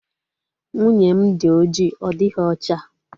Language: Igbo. Nwunye m dị oji ọ dịghị ocha